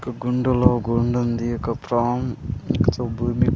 ఒక గుండలో గుండుంది ఒక ప్రాన్ భూమి.